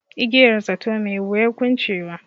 Igiyar zato, mai wuyar kuncewa.